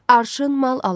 Arşın mal alan.